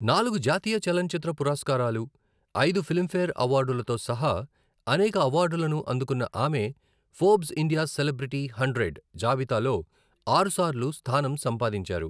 నాలుగు జాతీయ చలనచిత్ర పురస్కారాలు, ఐదు ఫిలింఫేర్ అవార్డులతో సహా అనేక అవార్డులను అందుకున్న ఆమె ఫోర్బ్స్ ఇండియా సెలబ్రిటీ హండ్రెడ్ జాబితాలో ఆరుసార్లు స్థానం సంపాదించారు.